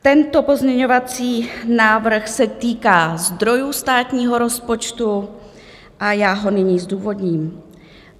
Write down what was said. Tento pozměňovací návrh se týká zdrojů státního rozpočtu a já ho nyní zdůvodním.